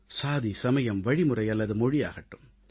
சாதி சமயம் வழிமுறை அல்லது மொழியாகட்டும்